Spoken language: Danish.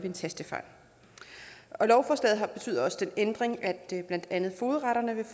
en tastefejl lovforslaget betyder også den ændring at blandt andet fogedretterne vil